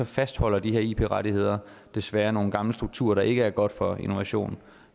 fastholder de her ip rettigheder desværre nogle gamle strukturer der ikke er gode for innovationen